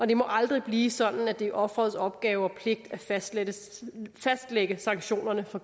det må aldrig blive sådan at det er offerets opgave og pligt at fastlægge sanktionerne for